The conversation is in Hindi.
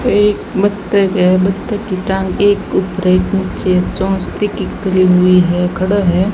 एक बतख है बतख की टांग एक के ऊपर एक नीचे चोच ठिकी करी हुई है खड़ा है।